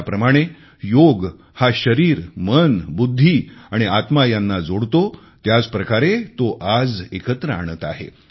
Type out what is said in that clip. ज्याप्रमाणे योग हा शरीर मन बुद्धि आणि आत्मा यांना जोडतो त्याचप्रकारे तो आज एकत्र आणत आहे